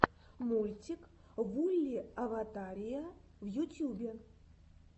мультик вулли аватария в ютьюбе